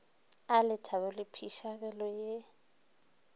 a lethabo le phišegelo ya